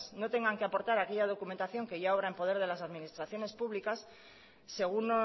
no tengan que aportar aquella documentación que ya obra en poder de las administraciones públicas según